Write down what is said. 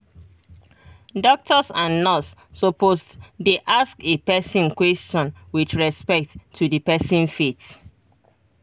doctors and nurse supposed dey ask a person question with respect to the person faith